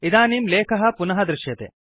इदानीं लेखः पुनः दृश्यते